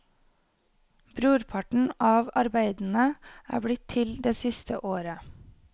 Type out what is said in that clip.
Brorparten av arbeidene er blitt til det siste året.